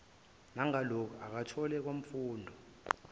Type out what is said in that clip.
nangaloku akuthole kwafunda